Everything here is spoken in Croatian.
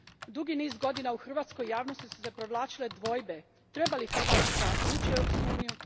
Dugi niz godina u hrvatskoj javnosti su se provlačile dvojbe Treba li Hrvatska ući u Europsku uniju?